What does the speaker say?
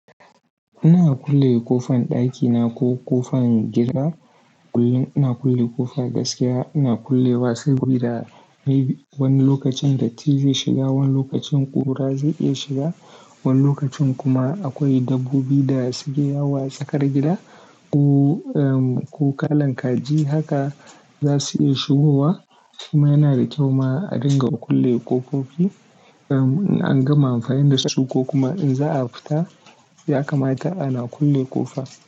Ina kulle ƙofan ɗakina ko ƙofan gida, kullum ina kulle ƙofa gaskiya. Ina kulle wa sabi da wani lokacin datti zai shiga, wani lokacin ƙura zai iya shiga, wani lokacin kuma akwai dabbobi da suke yawo a tsakar gida ko, ko kalan kaji haka za su iya shigowa. Shima yana da kyau ma a dinga kulle ƙofofi. In an gama amfani da shuka kuma in za a fita sai aka mata ana kulle ƙofa.